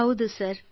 ಹೌದು ಸರ್